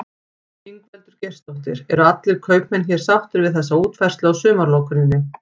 Ingveldur Geirsdóttir: Eru allir kaupmenn hér sáttir við þessa útfærslu á sumarlokuninni?